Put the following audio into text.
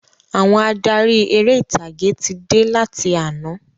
Àwọn adarí eré ìtàgé tí dé láti àná